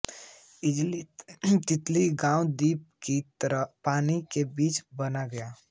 इसलिये तिलवल्लि गाँव द्वीप कि तरह पानि के बीच बन गया